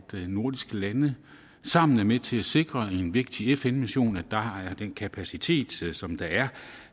nordiske lande sammen er med til at sikre en vigtig fn mission den kapacitet som der er